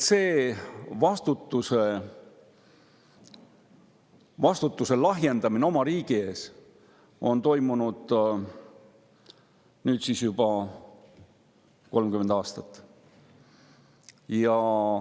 See vastutuse lahjendamine oma riigi ees on toimunud juba 30 aastat.